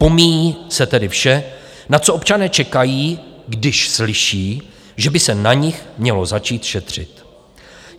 Pomíjí se tedy vše, na co občané čekají, když slyší, že by se na nich mělo začít šetřit.